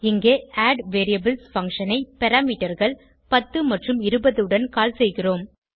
இங்கே அட்வேரியபிள்ஸ் பங்ஷன் ஐ parameterகள் 10 மற்றும் 20 உடன் கால் செய்கிறோம்